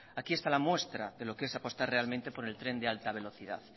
aquí está la muestra de lo que es apostar realmente por el tren de alta velocidad